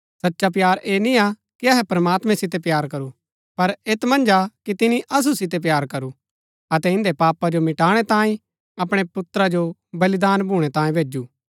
सचा प्‍यार ऐह निय्आ कि अहै प्रमात्मैं सितै प्‍यार करू पर ऐत मन्ज कि तिनी असु सितै प्‍यार करू अतै इन्दै पापा जो मटाणै तांई अपणै पुत्रा जो बलिदान भूणै तांयें भैजु